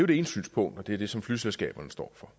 det ene synspunkt og det er det som flyselskaberne står for